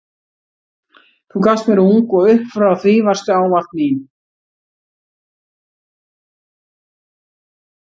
Þú gafst mér ung og upp frá því varstu ávallt mín.